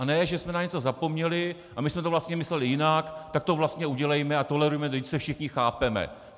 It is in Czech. A ne že jsme na něco zapomněli, a my jsme to vlastně mysleli jinak, tak to vlastně udělejme a tolerujme, vždyť se všichni chápeme.